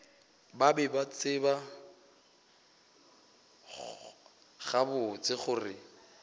be ba tseba gabotse gore